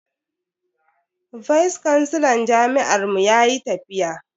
Vice kansilan jami'ar mu yayi tafiya.